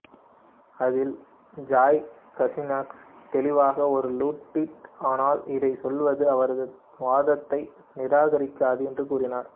அதில் Joy Kaczynski தெளிவாக ஒரு லுடிட் ஆனால் இதைச் சொல்வது அவரது வாதத்தை நிராகரிக்காது என்று கூறினார்